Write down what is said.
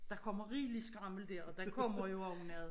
Der kommer rigeligt skrammel dér og der kommer jo også noget